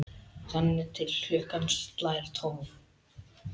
Þangað til klukkan slær tólf.